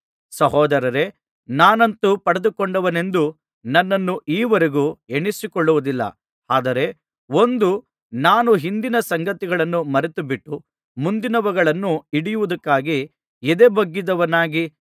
ಸಹೋದರರೇ ನಾನಂತೂ ಪಡೆದುಕೊಂಡವನೆಂದು ನನ್ನನ್ನು ಈ ವರೆಗೂ ಎಣಿಸಿಕೊಳ್ಳುವುದಿಲ್ಲ ಆದರೆ ಒಂದು ನಾನು ಹಿಂದಿನ ಸಂಗತಿಗಳನ್ನು ಮರೆತುಬಿಟ್ಟು ಮುಂದಿನವುಗಳನ್ನು ಹಿಡಿಯುವುದಕ್ಕಾಗಿ ಎದೆಬೊಗ್ಗಿದವನಾಗಿ